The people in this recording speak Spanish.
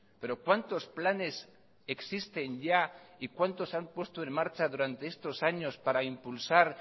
pero cuántos planes existen ya y cuántos han puesto en marcha durante estos años para impulsar